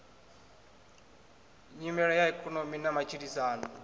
nyimele ya ikonomi na matshilisano